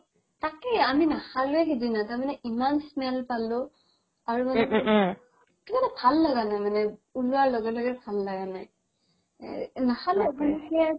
তাকেই আমি নাখালোৱে সিদিনা তাৰমানে ইমান smell পালো আৰু মানে কিবা এটা ভাল লাগা নাই উলোৱা লগে লগে ভাল লগা নাই নাখালো